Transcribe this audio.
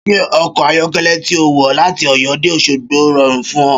Ṣé ọkọ̀ ayọ̀kẹ́lẹ́ tí ó wọ láti Ọ̀yọ́ dé Òṣogbo rọrùn fún ọ?